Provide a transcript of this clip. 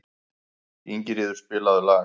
Ingiríður, spilaðu lag.